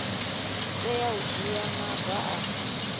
tea u dzhia maga a